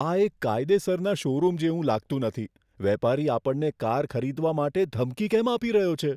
આ એક કાયદેસરના શોરૂમ જેવું લાગતું નથી. વેપારી આપણને કાર ખરીદવા માટે ધમકી કેમ આપી રહ્યો છે?